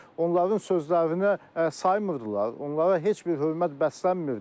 Onların sözlərinə saymırdılar, onlara heç bir hörmət bəslənmirdi.